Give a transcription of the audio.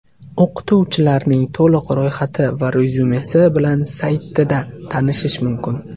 O‘qituvchilarning to‘liq ro‘yxati va rezyumesi bilan saytida tanishish mumkin.